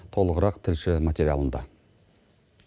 толығырақ тілші материалында